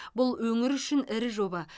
бұл өңір үшін ірі жоба